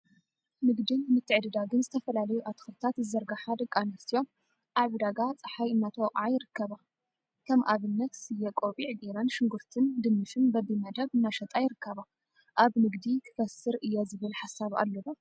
ንግድን ምትዕድዳግን ዝተፈላለዩ አትክልቲታት ዝዘርግሓ ደቂ አንስትዮ አብ ዕደጋ ፀሓይ እናተወቅዓ ይርከባ፡፡ ከም አብነት ስየ ቆቢዕ ገይረን ሽጉርቲን ድንሽን በቢምድብ እናሸጣ ይርከባ፡፡ አብ ንግዲ ክከስር እየ ዝብል ሓሳብ አሎ ዶ?